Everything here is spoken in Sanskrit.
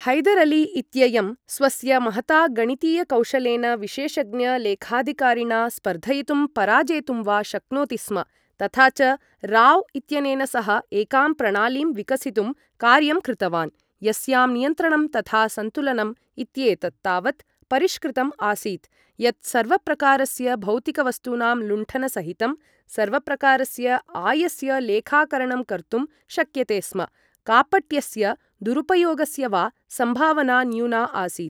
हैदर् अली इत्ययं स्वस्य महता गणितीयकौशलेन विशेषज्ञ लेखाधिकारिणा स्पर्धयितुं पराजेतुं वा शक्नोति स्म, तथा च राव् इत्यनेन सह एकां प्रणालीं विकसितुं कार्यं कृतवान्, यस्यां नियन्त्रणं तथा सन्तुलनम् इत्येतत् तावत् परिष्कृतम् आसीत् यत् सर्वप्रकारस्य भौतिकवस्तूनाम् लुण्ठन सहितं, सर्वप्रकारस्य आयस्य लेखाकरणं कर्तुं शक्यते स्म, कापट्यस्य दुरुपयोगस्य वा सम्भावना न्यूना आसीत्।